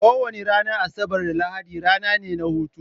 Kowani Ranar Asabar da lahadi rana ne hutawa